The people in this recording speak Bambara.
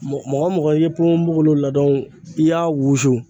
Mɔgɔ mɔgɔ i ye ponponpogolon ladon i y'a wusu